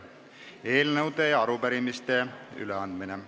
Eelnõude ja arupärimiste üleandmine.